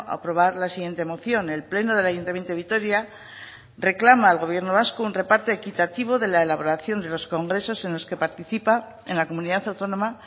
aprobar la siguiente moción el pleno del ayuntamiento de vitoria reclama al gobierno vasco un reparto equitativo de la elaboración de los congresos en los que participa en la comunidad autónoma